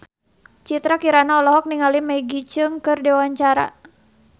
Citra Kirana olohok ningali Maggie Cheung keur diwawancara